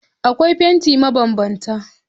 Akwai fanti mabanbanta